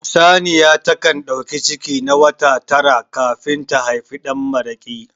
Saniya ta kan ɗauki ciki na wata tara kafin ta haifi ɗanmaraƙi